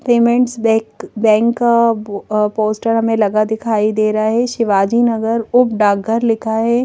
Payments bank bank का poster हमें लगा दिखाई दे रहा है शिवाजी नगर उप डाकघर लिखा है।